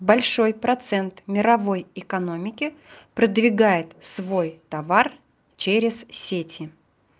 большой процент мировой экономики продвигает свой товар через сети